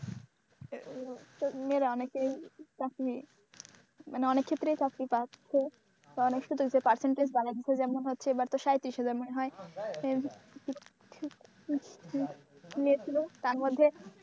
মেয়েরা অনেকেই চাকরি মানে অনেক ক্ষেত্রেই চাকরি আছে পাচ্ছে কারণ এর সাথে হচ্ছে percentage বাড়াচ্ছে যেমন এবার তো সায়ত্রিশ হজার মনে হয় তার মধ্যে,